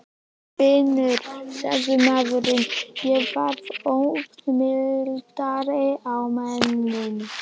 Vinnu? sagði maðurinn og varð ögn mildari á manninn.